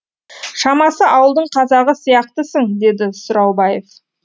шамасы ауылдың қазағы сияқтысың деді сұраубаев